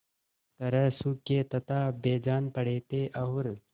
तरह सूखे तथा बेजान पड़े थे और